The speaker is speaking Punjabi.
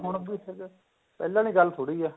ਹੁਣ ਵੀ ਉੱਥੇ ਤੇ ਪਹਿਲਾਂ ਵਾਲੀ ਗੱਲ ਥੋੜੀ ਏ